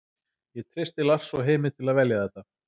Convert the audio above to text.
Ég treysti Lars og Heimi til að velja þetta.